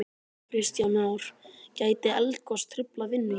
Kristján Már: Gæti eldgos truflað vinnu hér?